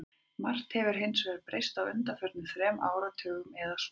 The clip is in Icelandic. Margt hefur hins vegar breyst á undanförnum þremur áratugum eða svo.